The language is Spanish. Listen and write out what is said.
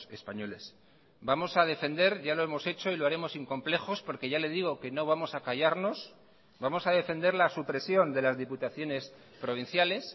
españoles vamos a defender ya lo hemos hecho y lo haremos sin complejos porque ya le digo que no vamos a callarnos vamos a defender la supresión de las diputaciones provinciales